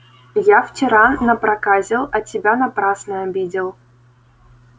я вчера напроказил а тебя напрасно обидел